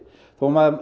þó maður